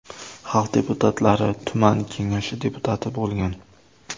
Xalq deputatlari tuman kengashi deputati bo‘lgan.